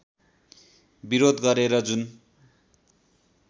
विरोध गरेर जुन